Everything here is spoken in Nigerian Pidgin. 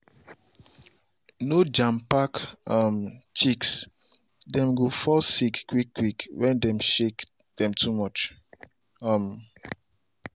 no jam pack um chicks- dem go fall sick quick quick when dem shake dem too much. um